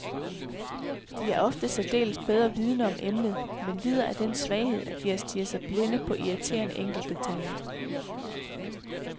De er ofte særdeles bedre vidende om emnet, men lider af den svaghed, at de har stirret sig blinde på irriterende enkeltdetaljer.